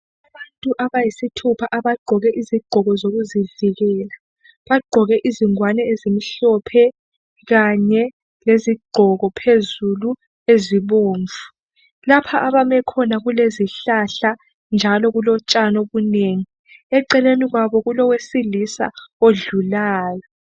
Abantu abayisithupha abagqoke izigqoko zokuzivikela bagqoke izingwane ezimhlophe kanye lezigqoko phezulu ezibomvu lapha abame khona kulezihlahla njalo kulotshani obunengi eceleni kwabo kulowesilisa odlulayo.